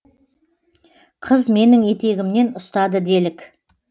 қыз менің етегімнен ұстады делік